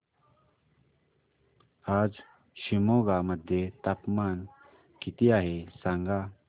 आज शिमोगा मध्ये तापमान किती आहे सांगा